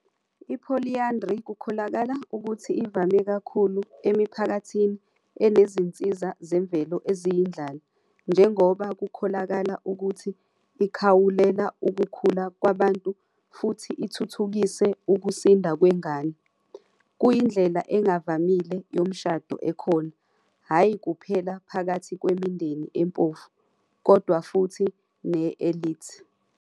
I-Polyandry kukholakala ukuthi ivame kakhulu emiphakathini enezinsiza zemvelo eziyindlala, njengoba kukholakala ukuthi ikhawulela ukukhula kwabantu futhi ithuthukise ukusinda kwengane. Kuyindlela engavamile yomshado ekhona hhayi kuphela phakathi kwemindeni empofu, kodwa futhi ne-elite.